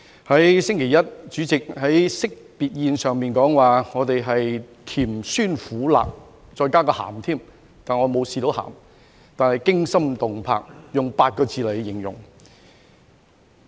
在星期一，主席在惜別宴上說我們經歷"甜酸苦辣"，再加個鹹，但我沒有嘗到鹹，但是"驚心動魄"，用8個字來形容。